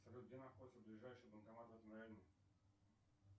салют где находится ближайший банкомат в этом районе